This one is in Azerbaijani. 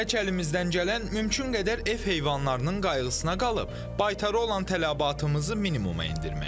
Tək əlimizdən gələn mümkün qədər ev heyvanlarının qayğısına qalıb, baytara olan tələbatımızı minimuma endirməkdir.